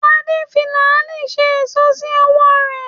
Adé fi làálí ṣe èṣó sí ọwọ́ ara rẹ̀